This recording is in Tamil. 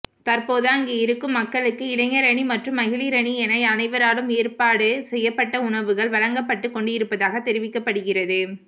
தற்போது அங்கிருக்கும் மக்களுக்கு இளைஞரணி மற்றும் மகளிரணி என அனைவராலும் ஏற்பாடு செய்யப்பட்ட உணவுகள் வழஙக்ப்பட்டுக் கொண்டிருப்பதாக தெரிவிக்கப்படுகிறது